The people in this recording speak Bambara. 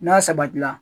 N'a sabatila